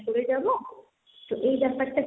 পাশ করে যাব। তো এই ব্যাপারটা,